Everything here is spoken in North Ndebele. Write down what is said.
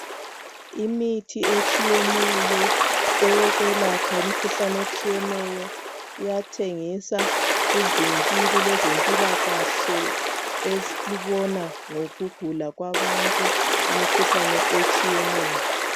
Imithi etshiyetshiyeneyo eyokwelapha imkhuhlane etshiyeneyo, iyathengiswa kuvinkili lwezempilakahle elibona ngokugula kwabantu imikhuhlane etshiyeneyo.